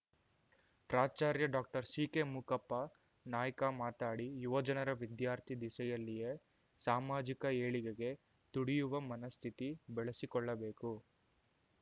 ಪ್ರಾಚಾರ್ಯ ಡಾಕ್ಟರ್ ಸಿಕೆಮೂಕಪ್ಪ ನಾಯ್ಕ ಮಾತಡಿ ಯುವಜನರು ವಿದ್ಯಾರ್ಥಿ ದಿಸೆಯಲ್ಲಿಯೆ ಸಾಮಾಜಿಕ ಏಳಿಗೆಗೆ ತುಡಿಯುವ ಮನಸ್ಥಿತಿ ಬೆಳೆಸಿಕೊಳ್ಳಬೇಕು